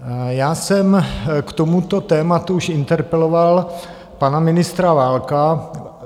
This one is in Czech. Já jsem k tomuto tématu už interpeloval pana ministra Válka.